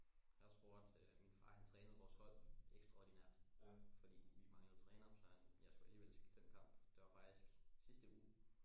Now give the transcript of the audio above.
Så spurgte øh min far han trænede vores hold ekstraordinært fordi vi manglede trænere så jeg skulle alligevel skippe den kamp det var faktisk sidste uge